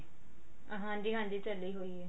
ਹਾਂਜੀ ਹਾਂਜੀ ਚੱਲੀ ਹੋਈ ਆ